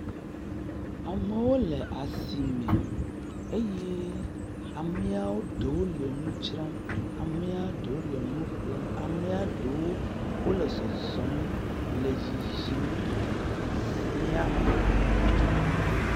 Amewo le asime eye amea ɖewo le nu dzram. Amea ɖewo le nu ƒlem. Amea ɖewo le zɔzɔm le yiyim le asia me.